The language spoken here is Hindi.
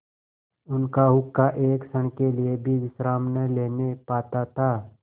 उनका हुक्का एक क्षण के लिए भी विश्राम न लेने पाता था